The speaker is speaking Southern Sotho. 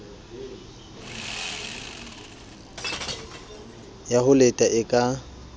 ya ho leta e ka